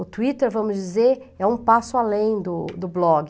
O Twitter, vamos dizer, é um passo além do do blog.